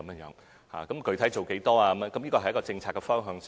至於具體做多少，這是政策方向的事宜。